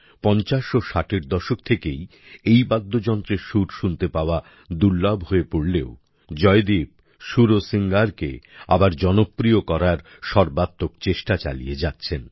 ৫০ ও ৬০এর দশকে থেকেই এই বাদ্যযন্ত্রের সুর শুনতে পাওয়া দুর্লভ হয়ে পড়লেও জয়দীপ সুরসিঙ্গারকে আবার জনপ্রিয় করার সর্বাত্মক চেষ্টা চালিয়ে যাচ্ছেন